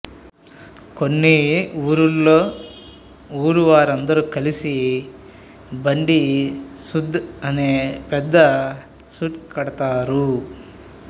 కొన్ని వూర్లల్లో ఊరు వారందరు కలిసి బండి సుడ్దు అని పెద్ద సుడ్తు కడతారు